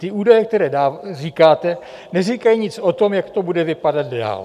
Ty údaje, které říkáte, neříkají nic o tom, jak to bude vypadat dál.